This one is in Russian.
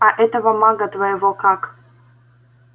а этого мага твоего как